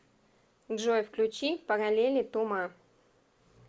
джой включи параллели ту ма